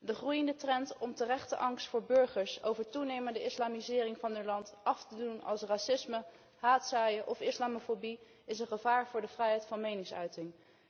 De groeiende trend om terechte angst van burgers over toenemende islamisering van hun land af te doen als racisme, haatzaaien of islamofobie is een gevaar voor de vrijheid van meningsuiting.